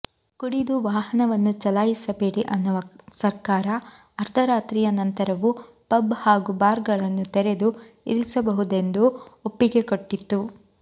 ಕುಡಿದು ವಾಹನವನ್ನು ಚಲಾಯಿಸಬೇಡಿ ಅನ್ನುವ ಸರ್ಕಾರ ಅರ್ದರಾತ್ರಿಯ ನಂತರವೂ ಪಬ್ ಹಾಗು ಬಾರ್ ಗಳನ್ನು ತೆರೆದು ಇರಿಸಬಹುದೆಂದು ಒಪ್ಪಿಗೆ ಕೊಟ್ಟಿತ್ತು